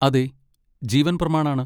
അതെ, ജീവൻ പ്രമാൺ ആണ്.